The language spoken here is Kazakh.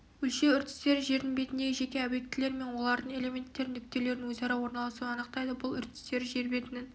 өлшеу үрдістері жердің бетіндегі жеке объектілер мен олардың элементтерінің нүктелерінің өзара орналасуын анықтайды бұл үрдістері жер бетінің